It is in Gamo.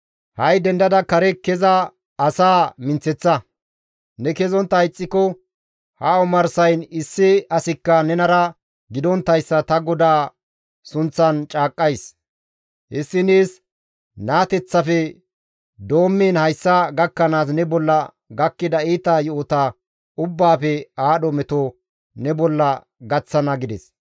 Ha7i dendada kare keza asaa minththeththa; ne kezontta ixxiko ha omarsayn issi asikka nenara gidonttayssa ta GODAA sunththan caaqqays; hessi nees naateteththafe doommiin hayssa gakkanaas ne bolla gakkida iita yo7ota ubbaafe aadho meto ne bolla gaththana» gides.